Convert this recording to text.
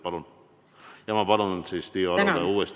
Palun, Tiiu Aro, uuesti, viis minutit!